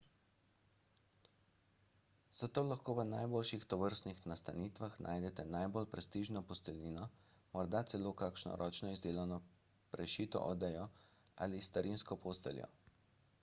zato lahko v najboljših tovrstnih nastanitvah najdete najbolj prestižno posteljnino morda celo kakšno ročno izdelano prešito odejo ali starinsko posteljo